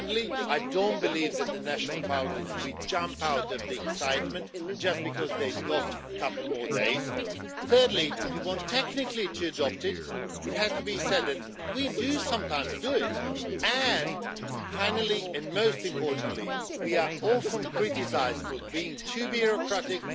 Secondly, I don't believe that the national parliament will jump in the air in excitement just because they have a couple more days. Thirdly, if you want technically to adopt it, it has to be said that we do sometimes do it. And, finally and most importantly, we are often criticised for being too bureaucratic,